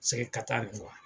Sɛgɛ kata nin kuwa